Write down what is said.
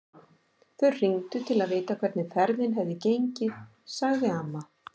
Þau hringdu til að vita hvernig ferðin hefði gengið, sagði amma.